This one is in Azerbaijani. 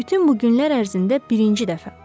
Bütün bu günlər ərzində birinci dəfə.